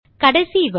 கடைசி வழி